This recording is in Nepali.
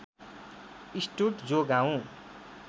स्टुर्ड जो गाउँ